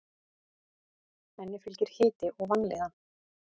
Henni fylgir hiti og vanlíðan.